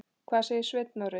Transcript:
En hvað segir Sveinn Orri?